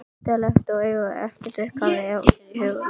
Undarlegt að eiga ekki upphafið aðgreint í huganum.